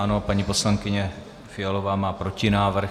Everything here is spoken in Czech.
Ano, paní poslankyně Fialová má protinávrh.